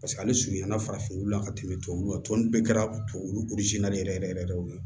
Paseke ale surunyana farafinna ka tɛmɛ tubabuw kan tɔni bɛɛ kɛra tubabu de yɛrɛ yɛrɛ yɛrɛ yɛrɛ de ye o ye